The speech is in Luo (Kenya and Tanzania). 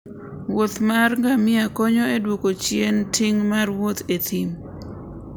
wuoth mar ngamia konyo e duoko chien ting' mar wuoth e thim